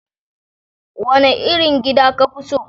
Wane irin gida ka fi so?